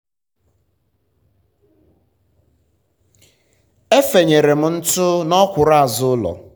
e fenyere m ntụ n'ọkwụrụ azụ ụlọ.